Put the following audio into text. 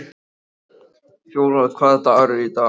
Fjólar, hvaða dagur er í dag?